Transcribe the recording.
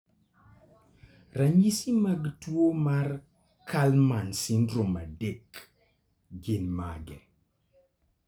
Ranyisi mag tuwo mar Kallmann syndrome 3 gin mage?